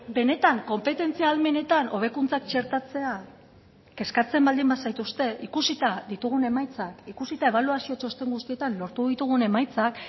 benetan konpetentzia ahalmenetan hobekuntzak txertatzea kezkatzen baldin ba zaituzte ikusita ditugun emaitzak ikusita ebaluazio txosten guztietan lortu ditugun emaitzak